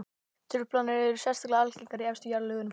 Truflanirnar eru sérstaklega algengar í efstu jarðlögunum.